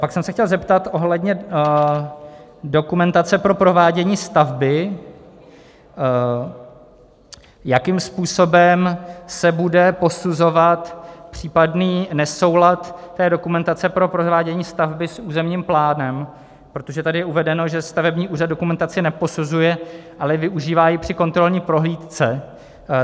Pak jsem se chtěl zeptat ohledně dokumentace pro provádění stavby, jakým způsobem se bude posuzovat případný nesoulad té dokumentace pro provádění stavby s územním plánem, protože tady je uvedeno, že stavební úřad dokumentaci neposuzuje, ale využívá ji při kontrolní prohlídce.